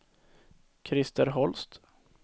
Krister Holst